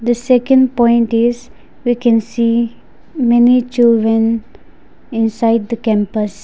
the second point is we can see many children inside the campus.